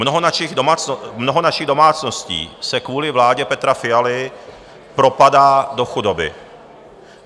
Mnoho našich domácností se kvůli vládě Petra Fialy propadá do chudoby.